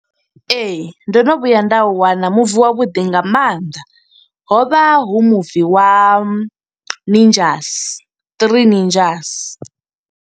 Ee, ndo no vhuya nda u wana muvi wa vhuḓi nga mannḓa. Hovha hu muvi wa ninjas, Three Ninjas.